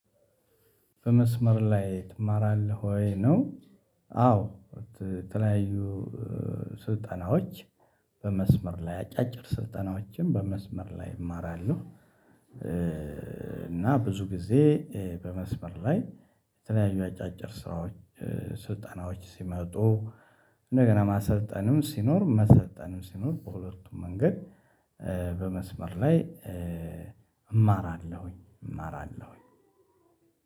በመስመር ላይ ትማራለህ ወይ ነው? አዎ የተለያዩ ስልጠናዎች በመስመር ላይ አጫጭር ስልጠናዎችን በመስመር ላይ እማራለሁ። እና ብዙ ጊዜ በመስመር ላይ የተለያዩ አጫጭር ስራዎች ስልጠናዎች ሲመጡ እንደገና ማሰልጠንም ሲኖር መሰልጠንም ሲኖር በሁለቱም መንገድ በመስመር ላይ እማራለሁኝ። እማራለሁኝ